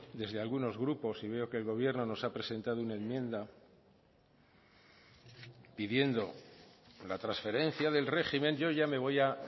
desde algunos grupos y veo que el gobierno nos ha presentado una enmienda pidiendo la transferencia del régimen yo ya me voy a